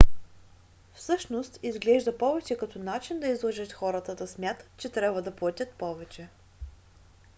всъщност изглежда повече като начин да излъжеш хората да смятат че трябва да платят повече